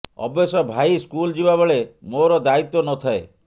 ଅବଶ୍ୟ ଭାଇ ସ୍କୁଲ ଯିବାବେଳେ ମୋର ଦାୟିତ୍ୱ ନ ଥାଏ